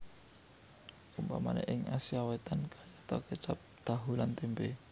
Umpamané ing Asia Wétan kayata kécap tahu lan témpé